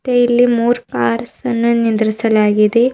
ಮತ್ತೆ ಇಲ್ಲಿ ಮೂರ್ ಕಾರ್ಸ್ ಅನ್ನ ನಿಂದ್ರಿಸಲಾಗಿದೆ.